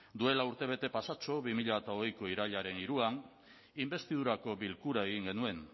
du duela urtebete pasatxo bi mila hogeiko irailaren hiruan inbestidurako bilkura egin genuen